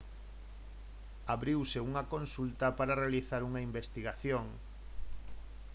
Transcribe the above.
abriuse unha consulta para realizar unha investigación